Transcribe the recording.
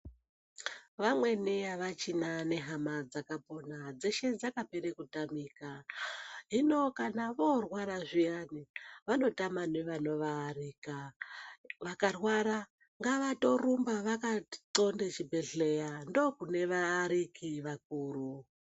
Vamweni avachina nehama dzakapona, dzeshe dzakapere kutamika. Hino kana voorwara zviyani, vanotama nevanovaarika. Vakatorwara ngavatorumba vakaxonde chibhedhleya, ndokune vaariki vakuru.